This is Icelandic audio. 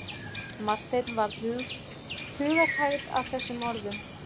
Marteini varð hugarhægð að þessum orðum.